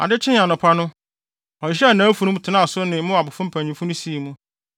Ade kyee anɔpa no, ɔhyehyɛɛ nʼafurum, tenaa ne so ne Moab mpanyimfo no sii mu.